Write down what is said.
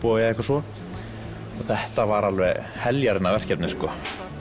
eða svo en þetta var alveg heljarinnar verkefni sko